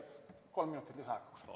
Kolm minutit lisaaega, palun!